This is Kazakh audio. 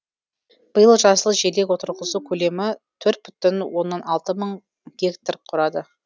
биыл жасыл желек отырғызу көлемі төрт бүтін оннан алты мың гектар құрады